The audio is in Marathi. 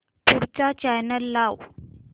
पुढचा चॅनल लाव